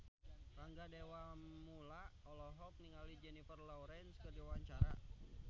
Rangga Dewamoela olohok ningali Jennifer Lawrence keur diwawancara